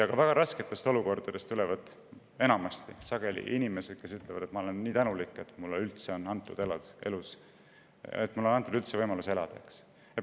Ka väga rasketest oludest pärit inimesed on sageli öelnud, et nad on nii tänulikud, et neile on antud võimalus elada.